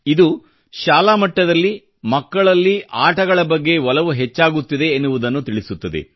ಇದು ಶಾಲಾ ಮಟ್ಟದಲ್ಲಿ ಮಕ್ಕಳಲ್ಲಿ ಆಟಗಳ ಬಗ್ಗೆ ಒಲವು ಎಷ್ಟು ಹೆಚ್ಚಾಗುತ್ತಿದೆ ಎನ್ನುವುದನ್ನು ತಿಳಿಸುತ್ತದೆ